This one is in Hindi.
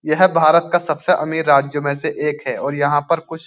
यह भारत का सबसे अमीर राज्यों में से एक है और यहाँ पर कुछ --